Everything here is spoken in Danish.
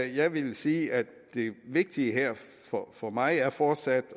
jeg vil sige at det vigtige for mig fortsat